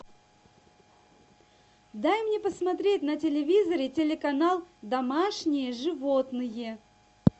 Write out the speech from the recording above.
дай мне посмотреть на телевизоре телеканал домашние животные